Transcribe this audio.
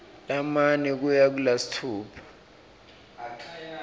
lamane kuya kulasitfupha